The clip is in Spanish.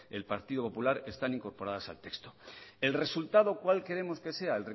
el partido popular están incorporadas al texto el resultado cuál queremos que sea